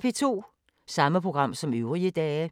Samme programflade som øvrige dage